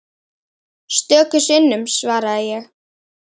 Stöku sinnum svaraði ég.